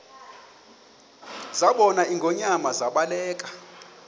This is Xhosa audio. zabona ingonyama zaba